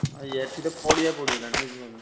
ଆଉ ଏଠି ତ ପଡିଆ ପଡ଼ିଗଲାଣି ବୁଝିପାରୁଛ ନା।